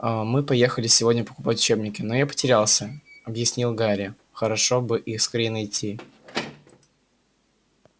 а мы поехали сегодня покупать учебники но я потерялся объяснил гарри хорошо бы их скорее найти